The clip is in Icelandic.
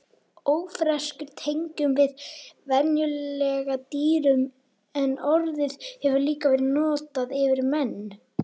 Ófreskjur tengjum við venjulega dýrum en orðið hefur líka verið notað yfir menn.